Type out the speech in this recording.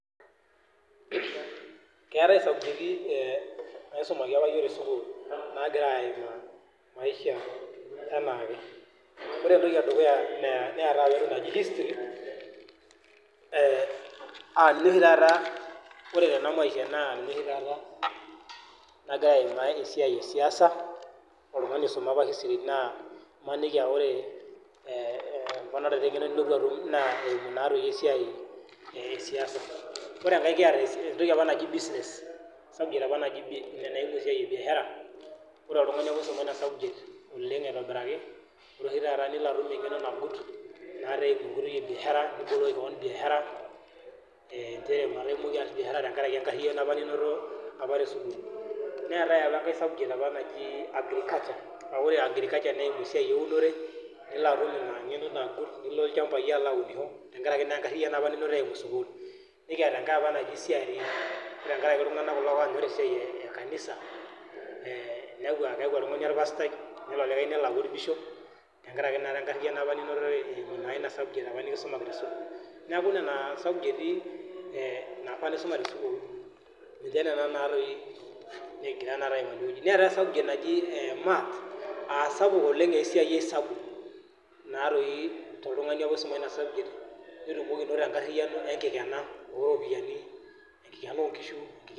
Keetae isubjekti naisumaki apa yiok tesukul nagira aimaa maisha anaake . Ore entoki edukuya neetae apa entoki naji history aa ore oshi taata tena maisha naa ninye nagira aimaki esiai esiaisa . Ore enkae kiata entoki apa naji business subject apa ina naihusu biashara . Neetae enkae subject naji agriculture naa ore ina naa esiai eunore . Nikiata enkae apa naji CRE neimaki ina esiai ekanisa , niaku oltungani orpastai , niaku nena subjects apa kisuma tesukul. Neetae naji maths naa subject sapuk petumoki oltungani anoto enkariano enkikena oropiyiani onkishu.